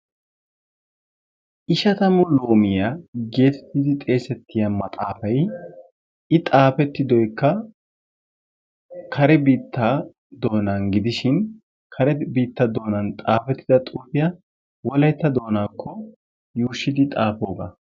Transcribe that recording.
ishshatammu loomiyaa geettetidi xessetiya maaxaafay i xaafettidoykka kare biittaa doonaan gidishin kare bitta doonan xaafettida xuufiyaa wolaytta doonaakko yuushsgidi xaafoogaa.